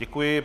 Děkuji.